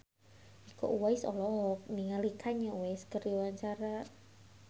Iko Uwais olohok ningali Kanye West keur diwawancara